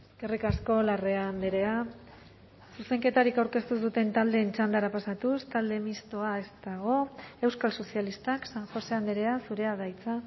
eskerrik asko larrea andrea zuzenketarik aurkeztu ez duten taldeen txandara pasatuz talde mistoa ez dago euskal sozialistak san josé andrea zurea da hitza